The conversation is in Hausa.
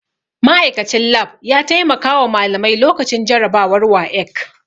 Ma'aikachin lab ya taimakawa malamai lokacin jarabawar WAEC